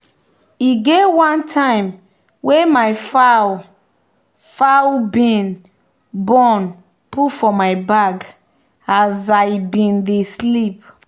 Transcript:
e get one time wey my fowl fowl bin born put for my bag as i bin dey sleep